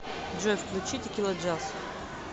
джой включи текиладжаз